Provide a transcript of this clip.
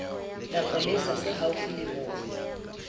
mapolesa se haufi le moo